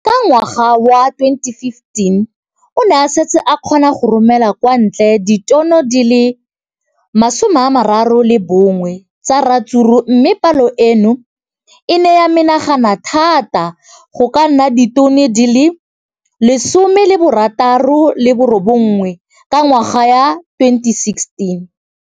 Ka ngwaga wa 2015, o ne a setse a kgona go romela kwa ntle ditone di le 31 tsa ratsuru mme palo eno e ne ya menagana thata go ka nna ditone di le 168 ka ngwaga wa 2016.